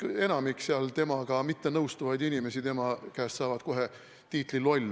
Enamik seal temaga mittenõustuvaid inimesi saavat temalt kohe tiitli "loll".